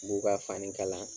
N b'u ka fani kalan